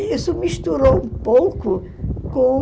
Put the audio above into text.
E isso misturou um pouco com...